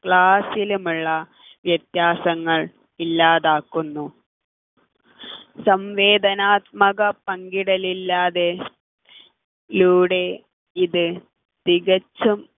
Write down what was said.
class ലുമുള്ള വ്യത്യാസങ്ങൾ ഇല്ലാതാക്കുന്നു സംവേദനാത്മക പങ്കിടൽ ഇല്ലാതെ ലൂടെ ഇത് തികച്ചും